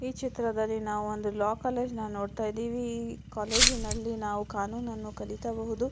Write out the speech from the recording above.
ಈ ಚಿತ್ರದಲ್ಲಿ ನಾವು ಒಂದು ಲಾ ಕಾಲೇಜ್ನ ನ್ನ ನೋಡ್ತಾಯಿದೀವಿ ಈ ಕಾಲೇಜ್ನಲ್ಲಿ ನಾವು ಕಾನೂನ್ ನನ್ನು ಕಲಿಯಬಹುದು.